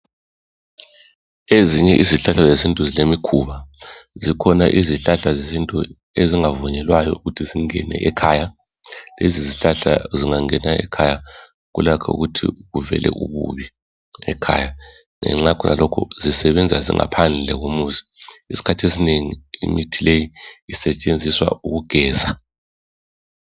Ezinye izihlahla zesintu zilemikhuba, zikhona izihlahla zesintu ezingavunyelwayo ukuthi zingene ekhaya. Lezizihlahla zingangena ekhaya kulakho ukuthi kuvele ububi ekhaya. Ngenxa yakhonalokho zisebenza zingaphandle komuzi. Isikhathi esinengi imithi leyi isetshenziswa ukugeza.